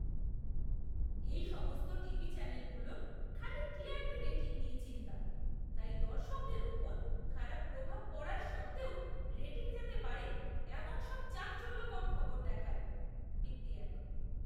এই সমস্ত টিভি চ্যানেলগুলোর খালি টিআরপি রেটিং নিয়ে চিন্তা, তাই দর্শকদের ওপর খারাপ প্রভাব পড়ার সত্ত্বেও রেটিং যাতে বাড়ে এমন সব চাঞ্চল্যকর খবর দেখায়। ব্যক্তি এক